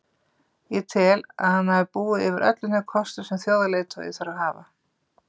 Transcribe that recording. Ég tel að hann hafi búið yfir öllum þeim kostum sem þjóðarleiðtogi þarf að hafa.